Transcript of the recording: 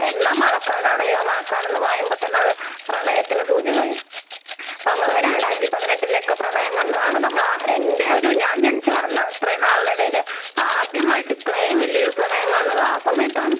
എന്നാ മഴക്കലാണെങ്കിലോ മഴക്കാല്ലെന്നു പറയുമ്പോ തന്നെ പ്രളയത്തിന് സൂചകായി. അതെ. നമ്മള് രണ്ടായിരത്തി പതിനെട്ടിലെ ഒക്കെ പ്രളയം കണ്ടതാണ്. നമ്മള് ആഹ് എന്റെയൊരു ഞാൻ ജനിച്ചു വളർന്ന ഇത്രയും നാളിനിടയില് ആദ്യമായിട്ട് ഇത്രയും വലിയ്യൊരു പ്രളയം കാണുന്നത് ആ സമയത്താണ്. .